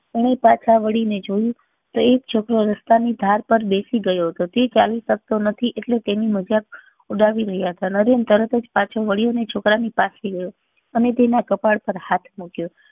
એને પાછા વળી ને જોયું તો એક છોકરો રસ્તા ની ધાર પે બેસી ગયો હતો તે ચાલી શકતો નથી એટલે તેની મજાક ઉડાવી રહ્યા હતા નરેન તરત જ પાછો વળ્યો ને છોકરા ની પાસે ગયો અને તેના કપાળ પર હાથ મુક્યો